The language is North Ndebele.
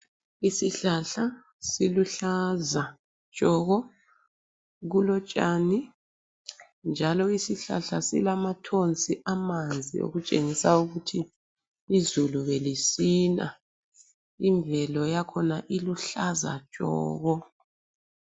Isihlahla siluhlaza tshoko, kulotshani njalo isihlahla silamathonsi amanzi okutshengisa ukuthi izulu belisina, imvelo yakhona iluhlaza tshoko.